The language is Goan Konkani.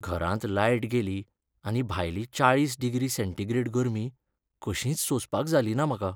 घरांत लायट गेली आनी भायली चाळीस डिग्री सेंटीग्रेड गर्मी कशींच सोंसपाक जालीना म्हाका.